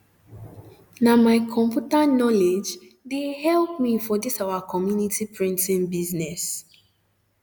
na my computer knowledge de um help me for this our community printing business